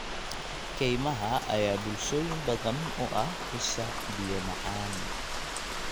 Kaymaha ayaa bulshooyin badan u ah isha biyo macaan.